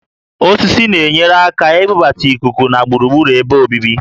Osisi na-enyere aka na-ibubata íkúkú na gburugburu ebe obibi